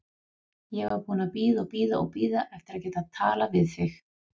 Ég var búin að bíða og bíða og bíða eftir að geta talað við þig.